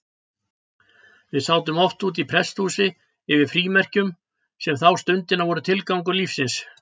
Við sátum oft úti í prestshúsi yfir frímerkjum, sem þá stundina voru tilgangur lífsins.